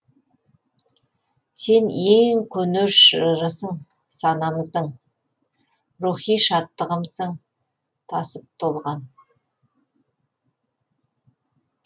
сен ең көне жырысың санамыздың рухи шаттығымсың тасып толған